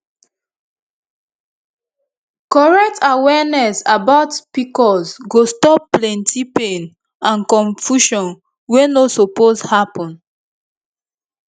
correct awareness about pcos go stop plenty pain and confusion wey no suppose happen